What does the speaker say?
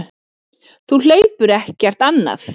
Þú hleypur ekkert annað.